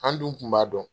An dun kun b'a dɔn